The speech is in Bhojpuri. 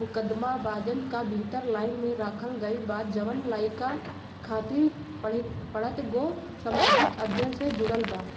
मुकदमा बाजन का भीतर लाइन में राखल गईल बा जौन लइका खातिर पढ़ पढ़त गो सामाजिक अध्ययन से जुडल बा।